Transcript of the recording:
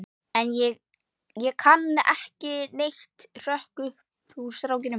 En ég kann ekki neitt, hrökk upp úr stráknum.